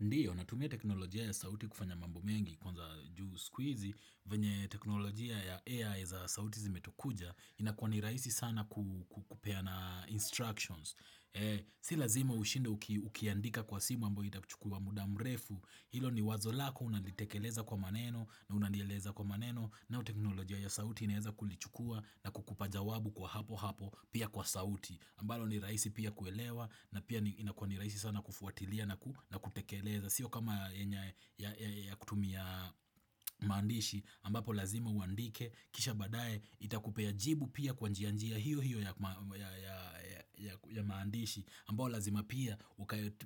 Ndiyo, natumia teknolojia ya sauti kufanya mambo mengi, kwanza juu sikuizi venye teknolojia ya AI za sauti zimetukuja, ina kuwa ni rahisi sana kupeana instructions. Sila zima ushinde ukiandika kwa simu ambayo itakuchukua muda mrefu, hilo ni wazo lako, unalitekeleza kwa maneno, na unalieleza kwa maneno, nao teknolojia ya sauti inaeza kulichukua na kukupa jawabu kwa hapo hapo, pia kwa sauti. Ambalo ni rahisi pia kuelewa na pia inakiwa ni rahisi aisi sana kufuatilia na kutekeleza Sio kama yenye ya kutumia maandishi ambapo lazima uandike Kisha badae itakupea jibu pia kwa njia hiyo hiyo ya maandishi ambayo lazima pia